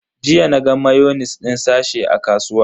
Jiya naga mayonis din sache a kasuwa.